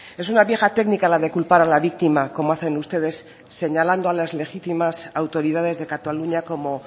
es una vieja técnica la de culpar a la víctima como hacen ustedes señalando a las legítimas autoridades de cataluña como